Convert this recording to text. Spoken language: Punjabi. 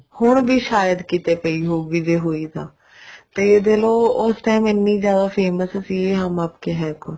ਹੁਣ ਵੀ ਸ਼ਾਇਦ ਕਿਤੇ ਪਈ ਹੋਊਗੀ ਜੇ ਹੋਈ ਤਾਂ ਤੇ ਦੇਖਲੋ ਉਸ time ਇੰਨੀ ਜਿਆਦਾ famous ਸੀ ਹਮ ਆਪਕੇ ਹੈਂ ਕੋਣ